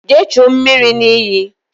Jee chuo mmiri n'iyi!